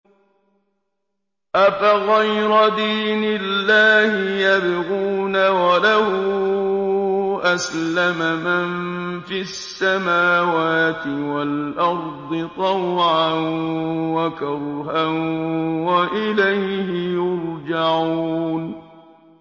أَفَغَيْرَ دِينِ اللَّهِ يَبْغُونَ وَلَهُ أَسْلَمَ مَن فِي السَّمَاوَاتِ وَالْأَرْضِ طَوْعًا وَكَرْهًا وَإِلَيْهِ يُرْجَعُونَ